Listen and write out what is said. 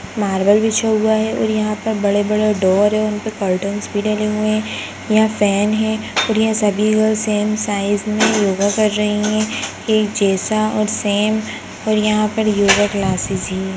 Marble बिछा हुआ है और यहा पर बड़े-बड़े डोर है उनपे करटैन्स भी डले हुए है यहा फैन है और यहा सभी गर्ल्स सेम साइज़ में योगा कर रही है एक जैसा और सेम और यहा पर योगा क्लासेस हैं।